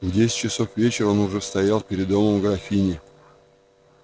в десять часов вечера он уж стоял перед домом графини